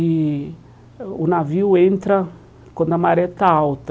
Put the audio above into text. E o navio entra quando a maré está alta.